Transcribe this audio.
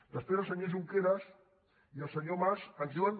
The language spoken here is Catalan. després el senyor junqueras i el senyor mas ens diuen